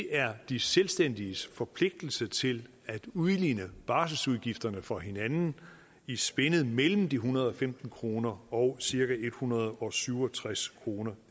er de selvstændiges forpligtelse til at udligne barselsudgifterne for hinanden i spændet mellem de en hundrede og femten kroner og cirka en hundrede og syv og tres kroner